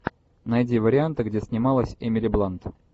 найди варианты где снималась эмили блант